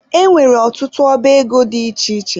E nwere ọtụtụ ọba ego dị iche iche